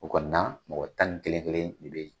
O kɔnɔna mɔgɔ tan ni kelen kelen de bɛ yen.